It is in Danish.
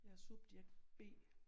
Jeg er subjekt B